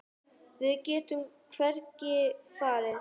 Við getum hvergi farið.